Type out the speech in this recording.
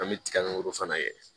An bɛ tigago fana kɛ